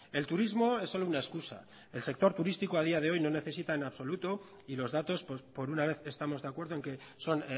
el turismo es solo una excusa el sector turístico a día de hoy no necesita en absoluto y los datos por una vez estamos de acuerdo en que son